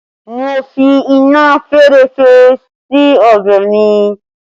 Mo fi iná fẹ́rẹ́fẹ́ sí ọbẹ̀ mi